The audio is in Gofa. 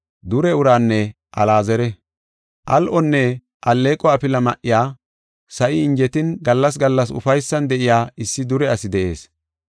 “Al7onne alleeqo afila ma7iya, sa7i injetin gallas gallas ufaysan de7iya issi dure asi de7ees.